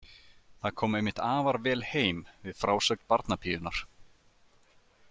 Það kom einmitt afar vel heim við frásögn barnapíunnar.